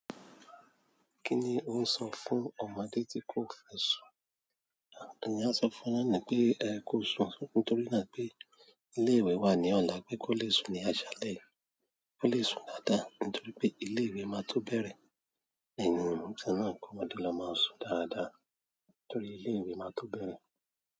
Kí ni ó ń sọ fún ọmọdé tí kò fẹ́ sùn? Ìyá sọ fún ọnà ní pé, "Ẹ kó sùn," nítorí pé ilé ìwé wà ní ọ̀la pé kó le sùn ní aṣálẹ̀. Kó le sùn dáadáa nítorí pé ilé ìwé máa tó bẹ̀rẹ̀. Ẹ̀yin ìtàn náà kó ọmọdé lọ máa sùn dáadáa torí ilé ìwé máa tó bẹ̀rẹ̀.